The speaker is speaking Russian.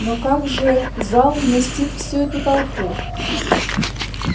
но как же зал вместит всю эту толпу